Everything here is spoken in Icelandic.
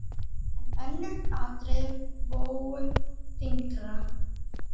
En önnur atriði vógu þyngra.